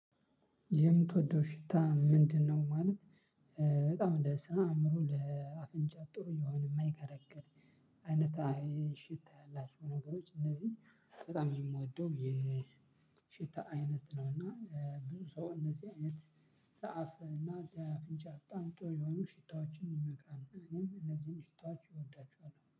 የምትወደው ሽታ ምንድነው? ማለት በጣም ለስራ ይሁን ለአፍንጫ ጥሩ የሆነ የማይከረክር አይነት ሽታ ያላቸው ነገሮች እነዚህ በጣም የምወደው የሽታ አይነት ነው። እና ብዙ ሰው እነዚህ አይነት ለአፍ እና ለአፍንጫ በጣም ጥሩ የሆኑ ሽታዎችን ይመክራሉ እኔም እነዚህን ሽታዎች እወዳቸዋለሁ።